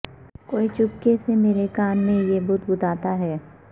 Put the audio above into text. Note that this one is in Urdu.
کوئی چپکے سے میرے کان میں یہ بدبداتا ہے